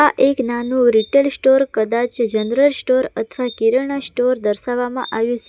આ એક નાનું રિટેઈલ સ્ટોર કદાચ જનરલ સ્ટોર અથવા કિરાના સ્ટોર દર્શાવવામાં આવ્યું --